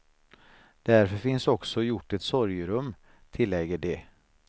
Därför finns också gjort ett sorgerum, tillägger de.